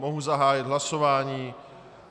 Mohu zahájit hlasování.